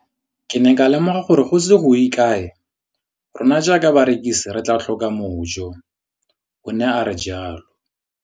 Ke ne ka lemoga gore go ise go ye kae rona jaaka barekise re tla tlhoka mojo, o ne a re jalo.